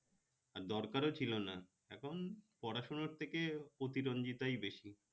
আর দরকারও ছিল না এখন পড়াশোনার থেকে অতিরঞ্জিতই বেশি